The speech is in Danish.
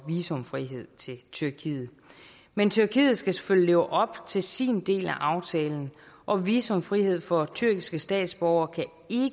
visumfrihed til tyrkiet men tyrkiet skal selvfølgelig leve op til sin del af aftalen og visumfrihed for tyrkiske statsborgere kan